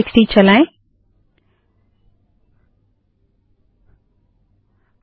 cat space files dot TXT cat space files dot TXT चलाएँ